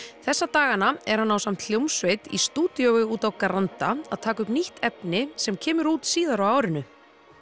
þessa dagana er hann ásamt í hljómsveit í stúdíói úti á Granda að taka upp nýtt efni sem kemur út síðar árinu